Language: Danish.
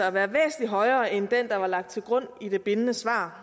at være væsentlig højere end den der var lagt til grund i det bindende svar